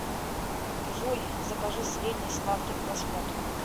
джой закажи средний сладкий к просмотру